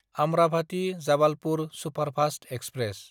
आम्राभाटी–जाबालपुर superfast express